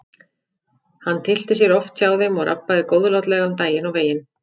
Hann tyllti sér oft hjá þeim og rabbaði góðlátlega um daginn og veginn.